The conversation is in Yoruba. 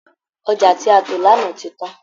Ọjà tí a tò lánàá ti tán